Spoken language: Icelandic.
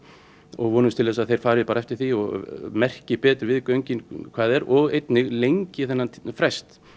og vonumst til að þeir fari eftir því og merki betur við göngin hvað er og einnig lengi þennan frest